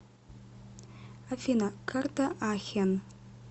афина карта ахен